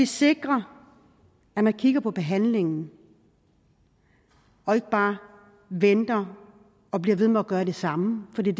sikre at man kigger på behandlingen og ikke bare venter og bliver ved med at gøre det samme for det